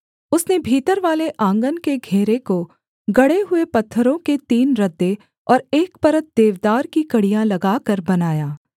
उसने भीतरवाले आँगन के घेरे को गढ़े हुए पत्थरों के तीन रद्दे और एक परत देवदार की कड़ियाँ लगाकर बनाया